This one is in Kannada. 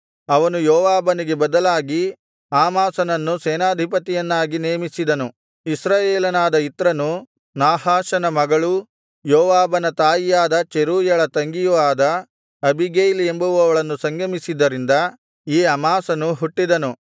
ಅವನು ಯೋವಾಬನಿಗೆ ಬದಲಾಗಿ ಅಮಾಸನನ್ನು ಸೇನಾಧಿಪತಿಯನ್ನಾಗಿ ನೇಮಿಸಿದನು ಇಸ್ರಾಯೇಲನಾದ ಇತ್ರನು ನಾಹಾಷನ ಮಗಳೂ ಯೋವಾಬನ ತಾಯಿಯಾದ ಚೆರೂಯಳ ತಂಗಿಯೂ ಆದ ಅಬೀಗೈಲ್ ಎಂಬುವಳನ್ನು ಸಂಗಮಿಸಿದ್ದರಿಂದ ಈ ಅಮಾಸನು ಹುಟ್ಟಿದನು